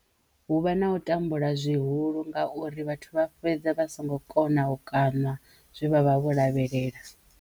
Hu vha na u tambula zwihulu ngauri vhathu vha fhedza vha songo kona u kaṋa zwe vha vha vho lavhelela.